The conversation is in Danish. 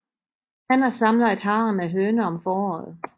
Hanner samler et harem af høner om foråret